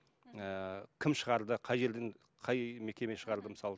ііі кім шығарды қай жерден қай мекеме шығарды мысалы